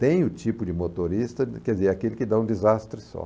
Tem o tipo de motorista, quer dizer, aquele que dá um desastre só.